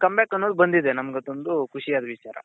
come back ಅನ್ನೋದು ಬಂದಿದೆ ನಮ್ಗದೊಂದು ಖುಷಿಯಾದ ವಿಚಾರ